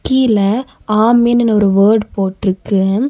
கீழ ஆமென்ன்னு ஒரு வோர்ட் போட்ருக்கு.